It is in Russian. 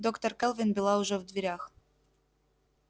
доктор кэлвин была уже в дверях